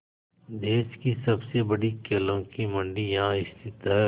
देश की सबसे बड़ी केलों की मंडी यहाँ स्थित है